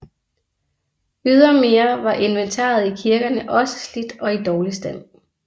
Ydermere var inventaret i kirkerne også slidt og i dårlig stand